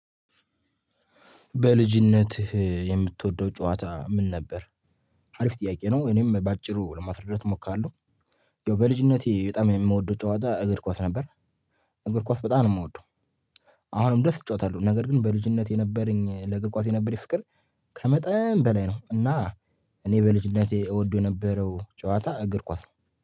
በልጅነት የምትወደው ጨዋታ ምን ነበር? አሪፍ ጥያቄ ነው እኔም በአጭሩ ለማስረዳት እሞክራለሁ። ያው በልጅነቴ በጣም የምወደው ጨዋታ እግር ኳስ ነበር። እግር ኳስ በጣም ነው የምወደው። አሁንም ድረስ እጫወታሉ ነገር ግን በልጅነት የነበረኝ ለእግር ኳስ የነበረኝ ፍቅር ከመጠን በላይ ነው። እና እኔ በልጅነቴ እወደው የነበረው ጨዋታ እግር ኳስ ነው